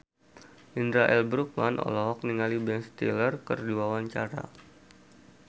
Indra L. Bruggman olohok ningali Ben Stiller keur diwawancara